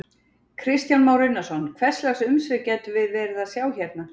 Kristján Már Unnarsson: Hvers lags umsvif gætum við verið að sjá hérna?